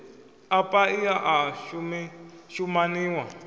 a paia a o shumaniwa